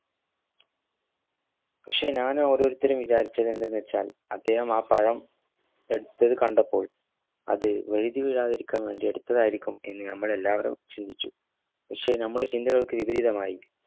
പശ്ശെ ഞാൻ ഓരോരുത്തരു വിചാരിച്ചതെന്തെന്നുവച്ചാൽ അദ്ദേഹം ആ പഴം എട്ത്തത് കണ്ടപ്പോൾ അത് വഴുതി വീഴത്തിക്കാൻ വേണ്ടി എന്ന് നമ്മൾ എല്ലാവറും ചിന്തിച്ചു പശ്ശെ നമ്മളെ ചിന്തകൾക് വിപരീതമായി